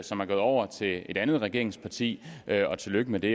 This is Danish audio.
som er gået over til et andet regeringsparti og tillykke med det